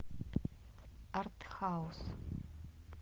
артхаус